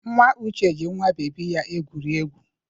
Nwa Uche ji nwa bebi ya egwuri egwu.